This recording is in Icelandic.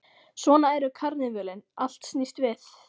Svona eru karnivölin, allt snýst við.